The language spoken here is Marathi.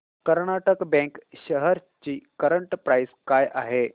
कर्नाटक बँक शेअर्स ची करंट प्राइस काय आहे